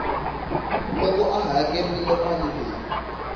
loko a hakerile mali leyi